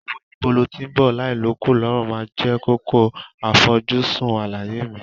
Òwe "Níbo lo tí ń bọ̀ láì l'ókùn l'ọ́rùn" máa jẹ́ kókó àfojúsùn àlàyé mi.